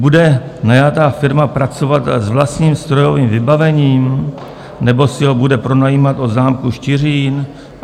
Bude najatá firma pracovat s vlastním strojovým vybavením, nebo si ho bude pronajímat od zámku Štiřín?